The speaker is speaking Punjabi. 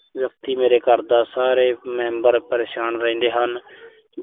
ਮੇਰੇ ਘਰ ਦੇ ਸਾਰੇ member ਪਰੇਸ਼ਾਨ ਰਹਿੰਦੇ ਹਨ।